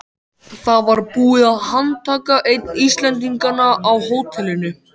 Það var búið að handtaka einn Íslendinganna á hótelinu.